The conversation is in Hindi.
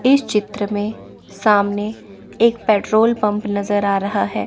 इस चित्र में सामने एक पेट्रोल पंप नजर आ रहा है।